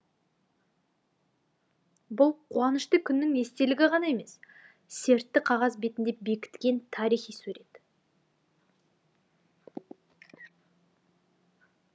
бұл қуанышты күннің естелігі ғана емес сертті қағаз бетінде бекіткен тарихи сурет